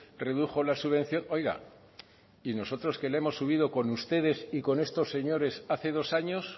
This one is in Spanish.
redujo la subvención oiga y nosotros que la hemos subido con ustedes y con estos señores hace dos años